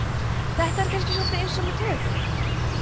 þetta er kannski svolítið eins með taugakerfið